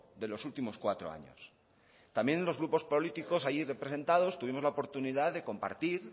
de los últimos cuatro años también los grupos políticos allí representados tuvimos la oportunidad de compartir